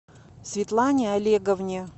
светлане олеговне